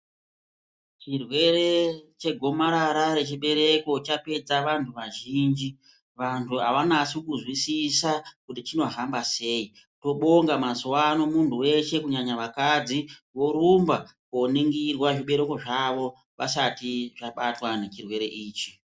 Chirwere chegomarara nechechibereko chapedza vantu vazhinji vantu avanyasinkunzwisisa kuti chinohamba sei vanobinga mazuva kuti muntu wese vorumba koningirwa zvibereko zvavo azvisati zvabatwa nechirwere ichi.